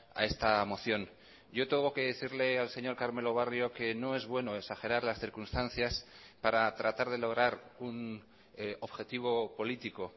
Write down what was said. a esta moción yo tengo que decirle al señor carmelo barrio que no es bueno exagerar las circunstancias para tratar de lograr un objetivo político